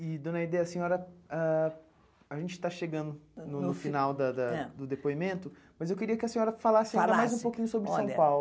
E, dona Aidê, a senhora ah... A gente está chegando no final da da do depoimento, mas eu queria que a senhora falasse ainda mais um pouquinho sobre São Paulo. Olha